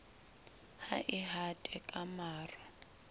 ha e hate ka maro